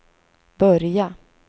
börja